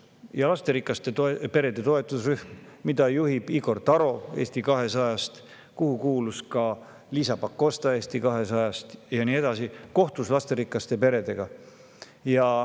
Ja lasterikaste perede toetusrühm, mida juhib Igor Taro Eesti 200-st ja kuhu kuulub ka Liisa Pakosta Eesti 200-st, kohtus lasterikaste peredega.